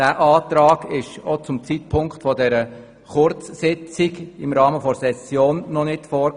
Dieser lag zum Zeitpunkt der Kurzsitzung im Rahmen der Session noch nicht vor.